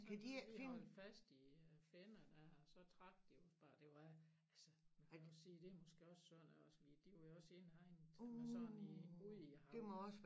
Så man lige holde fast i øh finner dér så trak de os bare det var altså jeg vil også sige det var måske også synd de var jo også indhegnet men sådan i ud i hav